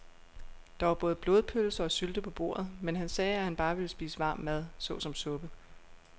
Der var både blodpølse og sylte på bordet, men han sagde, at han bare ville spise varm mad såsom suppe.